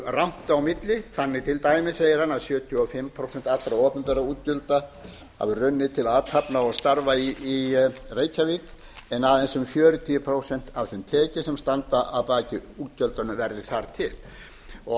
rangt á milli þannig til dæmis segir hann að sjötíu og fimm prósent allra opinberra útgjalda hafi runnið til athafna og starfa í reykjavík en aðeins um fjörutíu prósent af þeim tekjum sem standa að baki útgjöldunum verði þar til á